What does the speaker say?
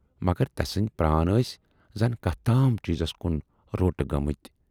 مگر تسٕندۍ پران ٲسۍ زَن کتھ تام چیٖزس کُن روٹہٕ گٲمٕتۍ۔